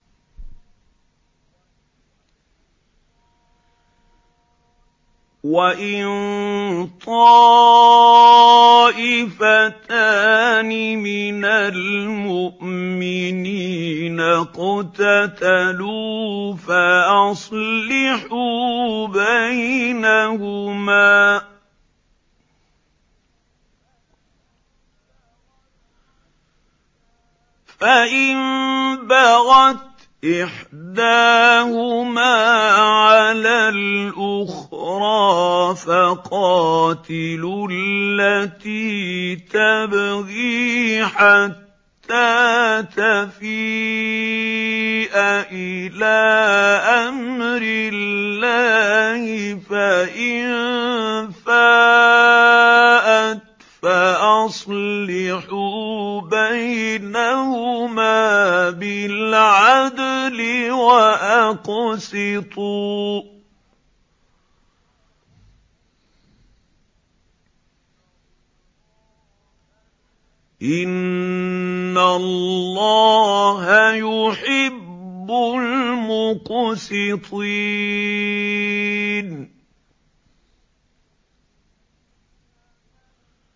وَإِن طَائِفَتَانِ مِنَ الْمُؤْمِنِينَ اقْتَتَلُوا فَأَصْلِحُوا بَيْنَهُمَا ۖ فَإِن بَغَتْ إِحْدَاهُمَا عَلَى الْأُخْرَىٰ فَقَاتِلُوا الَّتِي تَبْغِي حَتَّىٰ تَفِيءَ إِلَىٰ أَمْرِ اللَّهِ ۚ فَإِن فَاءَتْ فَأَصْلِحُوا بَيْنَهُمَا بِالْعَدْلِ وَأَقْسِطُوا ۖ إِنَّ اللَّهَ يُحِبُّ الْمُقْسِطِينَ